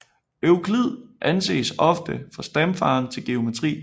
Euklid anses ofte for stamfaderen til geometri